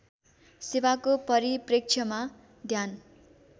सेवाको परिप्रेक्ष्यमा ध्यान